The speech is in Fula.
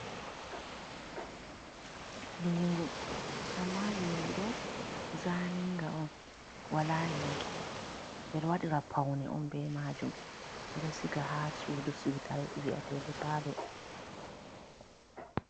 Liingu amma liingu do zaniga on wala yonki. Ɓeɗo waɗira paune on be majum. Ɓeɗo siga ha sudu siutare viyetede palo.